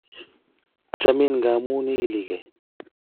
Achamin ngamun iki lee kee